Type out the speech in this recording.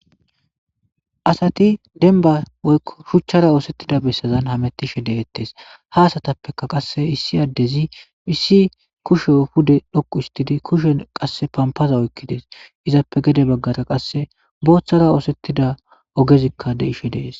Asati demba woyko shuchara osetida besazan hametishe detes ha asatape qase issi adezi issi kusho fude dhoqu histidi pompaza oykides izappe gede bagara qase bothara osetida ogezika be' ishe dees